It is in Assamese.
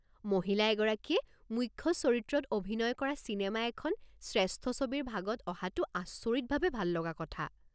মহিলা এগৰাকীয়ে মুখ্য চৰিত্ৰত অভিনয় কৰা চিনেমা এখন শ্ৰেষ্ঠ ছবিৰ ভাগত অহাটো আচৰিতভাৱে ভাললগা কথা।